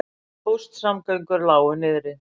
Póstsamgöngur lágu niðri